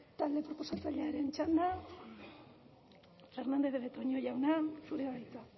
talde proposatzailearen txanda fernandez de betoño jauna zurea da hitza